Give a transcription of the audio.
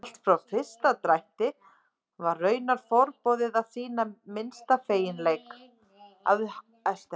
Allt frá fyrsta drætti var raunar forboðið að sýna minnsta feginleik.